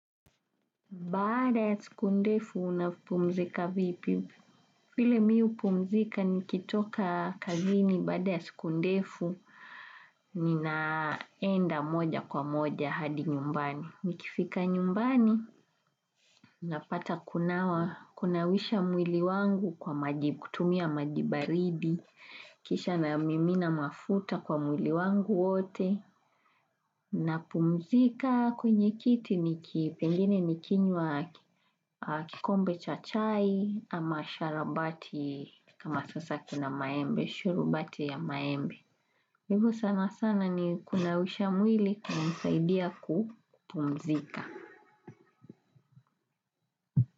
Bada ya siku ndefu unapumzika vipi. File mi upumzika nikitoka kazini bada ya siku ndefu ninaenda moja kwa moja hadi nyumbani. Nikifika nyumbani, napata kunawa, kunawisha mwili wangu kwa majibu, kutumia maji baridi. Kisha namimina mafuta kwa mwili wangu wote. Na pumzika kwenye kiti ni kipengine nikinywa kikombe cha chai ama sharubati kama sasa kina maembe, shurubati ya maembe. Hivo sana sana ni kunausha mwili kumsaidia kupumzika.